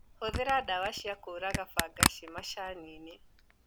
Hũthĩra ndawa ciakũraga bangaci macaniinĩ.